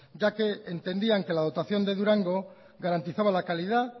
ya que entendían que la dotación de durango garantizaba la calidad